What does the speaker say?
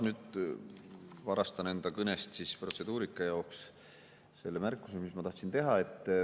Nüüd varastan enda kõneajast natuke selle protseduurilise märkuse jaoks, mis ma tahtsin teha.